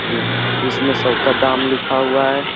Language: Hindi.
जिसमे सौ का दाम लिखा हुआ है।